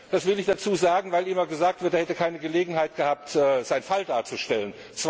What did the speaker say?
Das will ich dazusagen, weil immer gesagt wird, er hätte keine Gelegenheit gehabt, seinen Fall darzustellen.